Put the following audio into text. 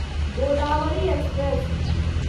Godavari express